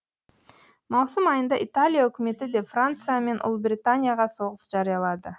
маусым айында италия үкіметі де франция мен ұлыбританияға соғыс жариялады